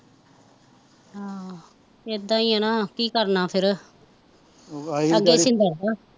ਆਹੋ ਇੱਦਾਂ ਈ ਨਾ ਕੀ ਕਰਨਾ ਫਿਰ ਅੱਗੇ